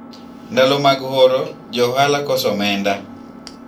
wakati wa kiangazi, wanabiashara hukosa pesa